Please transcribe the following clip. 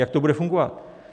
Jak to bude fungovat?